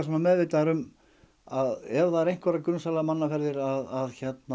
meðvitaðir um að ef það er einhverjar grunsamlegar mannaferðir að